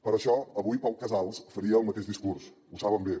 per això avui pau casals faria el mateix discurs ho saben bé